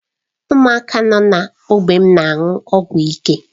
Ụmụaka nọ n'ógbè m na-aṅụ ọgwụ ike.